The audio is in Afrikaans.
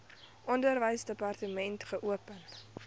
onderwysdepartement wkod geopen